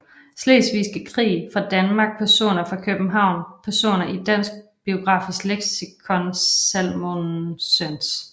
Slesvigske Krig fra Danmark Personer fra København Personer i Dansk Biografisk Leksikon Salmonsens